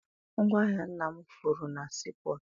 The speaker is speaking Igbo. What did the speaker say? Ngwaahịa nna m furu na sii pọtụ.